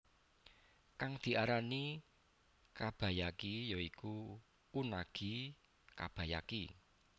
Kang diarani kabayaki ya iku unagi kabayaki